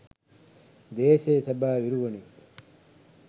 දේශයේ සැබෑ විරුවනි